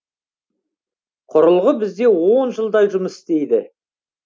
құрылғы бізде он жылдай жұмыс істейді